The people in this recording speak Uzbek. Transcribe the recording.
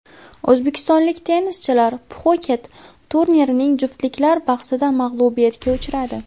O‘zbekistonlik tennischilar Pxuket turnirining juftliklar bahsida mag‘lubiyatga uchradi.